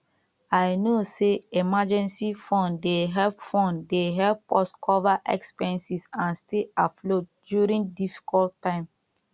i know say emergency fund dey help fund dey help us to cover expenses and stay afloat during difficult time